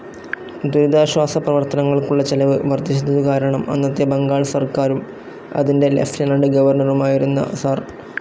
ദുരിതാശ്വാസ പ്രവർത്തനങ്ങൾക്കുള്ള ചെലവ് വർദ്ധിച്ചതുകാരണം അന്നത്തെ ബംഗാൾ സർക്കാരും, അതിന്റെ ലിയൂട്ടെനന്റ്‌ ഗവർണറുമായിരുന്ന സർ.